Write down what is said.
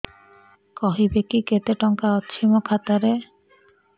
କହିବେକି କେତେ ଟଙ୍କା ଅଛି ମୋ ଖାତା ରେ